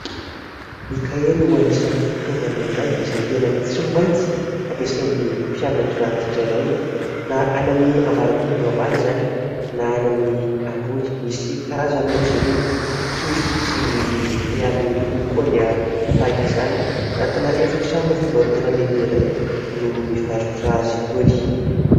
Ny kahie no anisany fitaovana iray izay tena tsy maintsy ampiasain'ny mpianatra tsirairay, na any amin'ny ambaratonga ambany izany na any amin'ny ambony. Misy karazany moa izy ireny : kely sy ny lehibe, ary ny lokony koa dia tahaka izany. Anatina efitrano fivarotana lehibe iray no mivarotra azy itony.